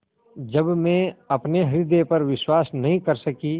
जब मैं अपने हृदय पर विश्वास नहीं कर सकी